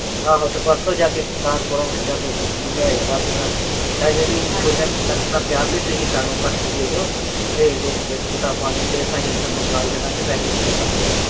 ਆਹੋ ਪਰਸੋਂ ਜਾ ਕੇ ਗੁਰਦਾਸਪੁਰੋਂ ਫਿਰ ਜਾ ਕੇ ਲਿਆਏ ਕਾਪੀਆਂ ਅਜੇ ਵੀ ਥੋੜੀਆਂ, ਦੁਕਾਨਦਾਰ ਨੇ ਕਿਹਾ ਬਈ ਤੁਸੀਂ ਸਾਨੂੰ ਪਰਚੀ ਦੇ ਜਾਓ। ਤੇ ਦੇਖ ਕੇ ਕਿਤਾਬਾਂ ਤੇ . ਮੰਗਾ ਈ ਦੇਵਾਂਗੇ ਪੈਸੇ ਜਮ੍ਹਾ ਕਰਾ ਜਾਓ।